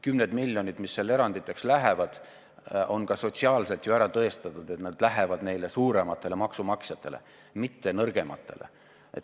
Kümned miljonid, mis eranditeks lähevad – on ju ka sotsiaalselt ära tõestatud, et see raha läheb suurematele maksumaksjatele, mitte nõrgematele.